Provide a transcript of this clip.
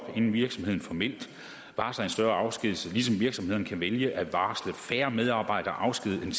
inden virksomheden formelt varsler et større antal afskedigelser ligesom virksomheden kan vælge at varsle færre medarbejdere afskediget end